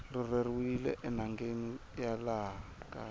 rhurheriwile enhangeni ya laha kaya